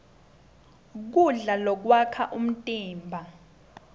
kudla lokwakha umtimba